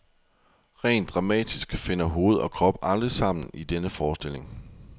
Rent dramatisk finder hoved og krop aldrig sammen i denne forestilling.